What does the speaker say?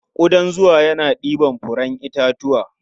Ƙudan zuma yana ɗibar furen itatuwa.